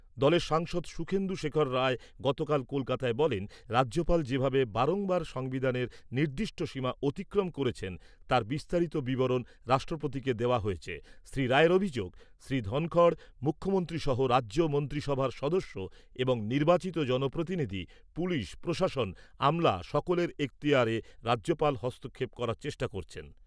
দলের সাংসদ সুখেন্দু শেখর রায় গতকাল কলকাতায় বলেন, রাজ্যপাল যেভাবে বারংবার সংবিধানের নির্দিষ্ট সীমা অতিক্রম করেছেন, তার বিস্তারিত বিবরণ রাষ্ট্রপতিকে দেওয়া হয়েছে শ্রী রায়ের অভিযোগ, শ্রী ধনখড় মুখ্যমন্ত্রী সহ রাজ্য মন্ত্রীসভার সদস্য এবং নির্বাচিত জনপ্রতিনিধি, পুলিশ প্রশাসন, আমলা, সকলের এক্তিয়ারে রাজ্যপাল হস্তক্ষেপ করার চেষ্টা করছেন।